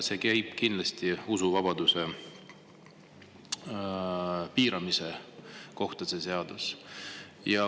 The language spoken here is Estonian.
See seadus on kindlasti usuvabaduse piiramise kohta.